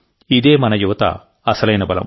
ఇదే మన యువత అసలైన బలం